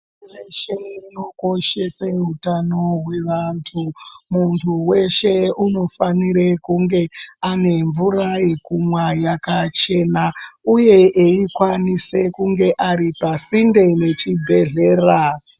Muntu veshe unokoshese hutano hweantu muntu veshe unofanire kunge anemvura yekumwa yakachena, uye eikwanise kunge ari pasinde nechibhedhlera.